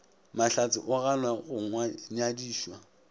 mahlatse o ganwa go nyadišwa